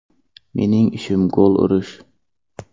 Mening ishim gol urish.